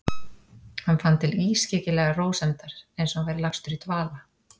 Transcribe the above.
Hann fann til ískyggilegrar rósemdar, einsog hann væri lagstur í dvala.